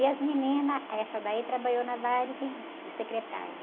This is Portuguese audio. E as meninas, aí essa daí trabalhou na Varig de secretária.